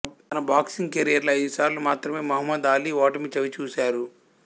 తన boxing career లో ఐదుసార్లు మాత్రమే మహ్మద్ అలీ ఓటమి చవిచూశారు